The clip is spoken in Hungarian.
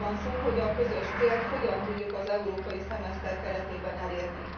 Arról van szó, hogy a közös célt hogyan tudjuk az európai szemeszter keretében elérni.